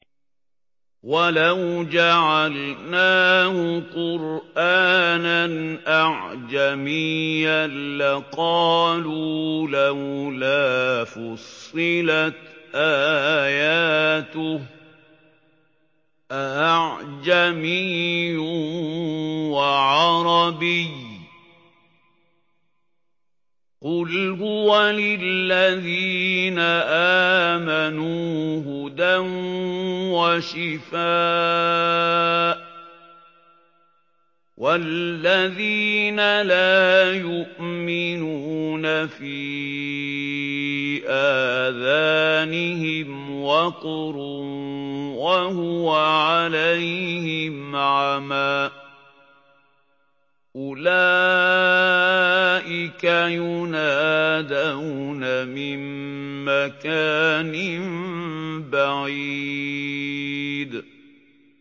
وَلَوْ جَعَلْنَاهُ قُرْآنًا أَعْجَمِيًّا لَّقَالُوا لَوْلَا فُصِّلَتْ آيَاتُهُ ۖ أَأَعْجَمِيٌّ وَعَرَبِيٌّ ۗ قُلْ هُوَ لِلَّذِينَ آمَنُوا هُدًى وَشِفَاءٌ ۖ وَالَّذِينَ لَا يُؤْمِنُونَ فِي آذَانِهِمْ وَقْرٌ وَهُوَ عَلَيْهِمْ عَمًى ۚ أُولَٰئِكَ يُنَادَوْنَ مِن مَّكَانٍ بَعِيدٍ